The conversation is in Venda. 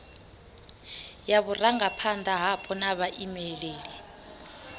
ya vhurangaphanda hapo na vhaimeleli